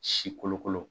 Si kolokolo